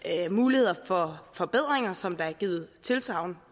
muligheder for forbedringer som der er givet tilsagn